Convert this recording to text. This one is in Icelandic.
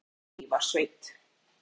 Bjarnarflagi í Mývatnssveit.